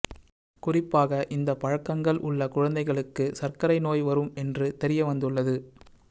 குறிப்பாக இந்த பழக்கங்கள் உள்ள குழந்தைகளுக்கு சர்க்கரை நோய் வரும் என்று தெரிய வந்துள்ளது